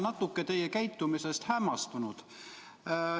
Ma olen teie käitumisest natuke hämmastunud.